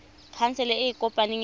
khansele e e kopaneng ya